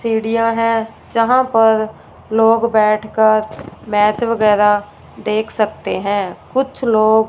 सीढ़ियां है जहां पर लोग बैठकर मैच वैगैरा देख सकते हैं कुछ लोग--